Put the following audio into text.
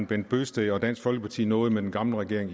bent bøgsted og dansk folkeparti nåede med den gamle regering